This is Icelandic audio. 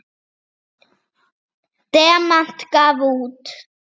Demant gaf út.